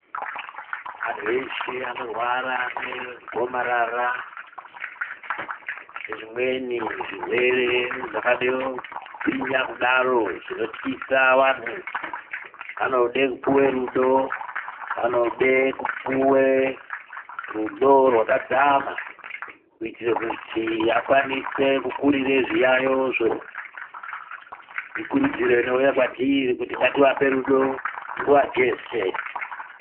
Antu eshe anorwara negomarara, nezvimweni zvirwere zvakade kugwinya kudaro zvinotwisa antu, anoda kupiwe rudo. Anode kupuwe rudo rwakadzama kuitire kuti akwanise kukurira zviyayozvo. Ikurudziro inouya kwatiri kuti ngativape rudo nguwa jeshe.